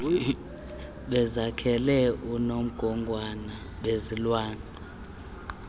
bezakhele unomgogwana wezulwana